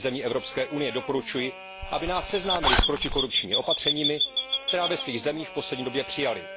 nových zemí Evropské unie doporučuji, aby nás seznámili s protikorupčními opatřeními, která byla v jejich zemích v poslední době přijata.